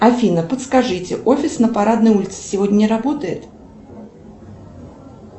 афина подскажите офис на парадной улице сегодня не работает